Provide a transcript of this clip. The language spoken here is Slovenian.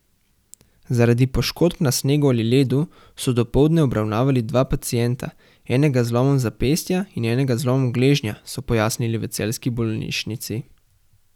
Zaradi poškodb na snegu ali ledu so dopoldne obravnavali dva pacienta, enega z zlomom zapestja in enega z zlomom gležnja, so pojasnili v celjski bolnišnici.